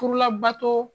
Furu labato